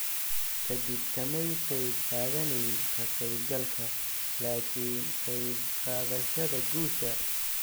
Ka dib, kamay qayb qaadanayn ka qaybgalka, laakiin ka qaybqaadashada guusha."